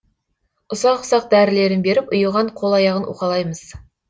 ұсақ ұсақ дәрілерін беріп ұйыған қол аяғын уқалаймыз